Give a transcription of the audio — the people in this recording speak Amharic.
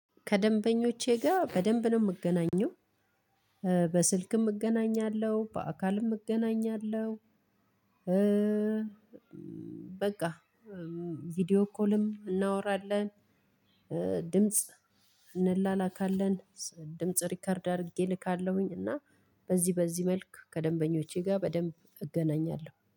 ከደንበኞቼ ጋር በደንብ ነው ምገናኘው በስልክም እገናኛለሁ በአካልም እገናኛለሁ በቃ ቪዲዮ ኮልም እናወራለን ድምጽ እንላላካለን ድምጽ ሪከርድ አድርጌ ልካለሁኝ እና በዚህ በዚህ መልክ ከደንበኞቼ ጋር በደንብ እገናኛለሁ።